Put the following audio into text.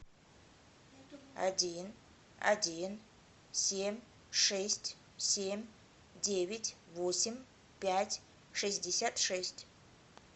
один один семь шесть семь девять восемь пять шестьдесят шесть